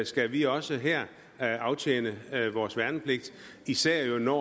skal vi også her aftjene vores værnepligt især jo når